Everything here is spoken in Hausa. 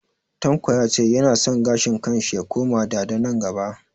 Tanko ya ce ya na son gashin kan shi ya koma dada nan gaba